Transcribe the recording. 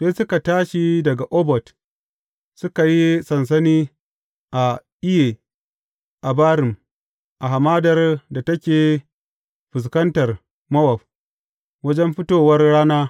Sai suka tashi daga Obot, suka yi sansani a Iye Abarim a hamadar da take fuskantar Mowab, wajen fitowar rana.